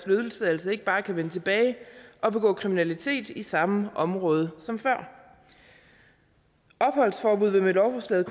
løsladelsen ikke bare kan vende tilbage og begå kriminalitet i samme område som før opholdsforbud vil med lovforslaget